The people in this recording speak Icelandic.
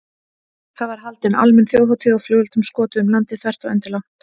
Það var haldin almenn þjóðhátíð og flugeldum skotið um landið þvert og endilangt.